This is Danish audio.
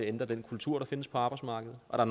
ændre den kultur der findes på arbejdsmarkedet og